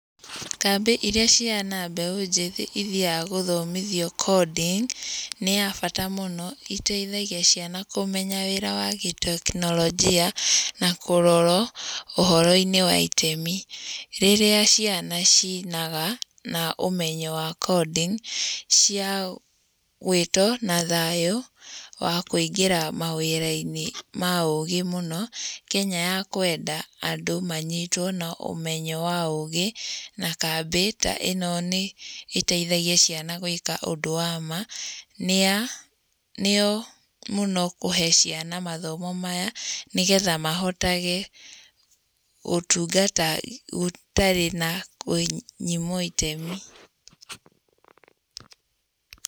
Kambĩ iria ciana mbeũ njĩthĩ ithiaga gũthomithio coding nĩ ya bata mũno, iteithagia ciana kũmenya wĩra wa gĩ teknolojia na kũrorwo ũhoro-inĩ wa itemi. Rĩrĩa ciana ciinaga na ũmenyo wa coding, cia gwĩtwo na thayũ wa kũingĩra mawĩra-inĩ ma ũgĩ mũno. Kenya ya kwenda andũ manyitwo na ũmenyo wa ũgĩ, na kambĩ ta ĩno ĩteithagia ciana gwĩka ũndũ wa ma. Nĩa nĩo mũno kũhe ciana mathomo maya nĩgetha mahotage ũtungata gũtarĩ na kũnyimwo itemi.